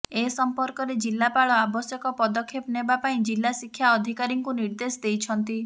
ଏ ସମ୍ପର୍କରେ ଜିଲାପାଳ ଆବଶ୍ୟକ ପଦକ୍ଷେପ ନେବା ପାଇଁ ଜିଲା ଶିକ୍ଷା ଅଧିକାରୀଙ୍କୁ ନିର୍ଦ୍ଦେଶ ଦେଇଛନ୍ତି